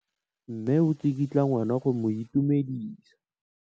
Mme o tsikitla ngwana go mo itumedisa.